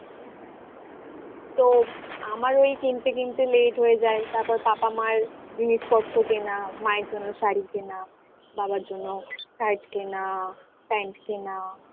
তো আমার ওই কিনতে কিনতে late হয়ে যায় তারপর পাপা মার জিনিসপত্র কেনা মায়ের জন্য শাড়ি কেনা বাবার জন্য shirt কেনা, pant কেনা